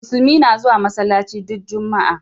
Musulmi na zuwa masallaci du Juma'a.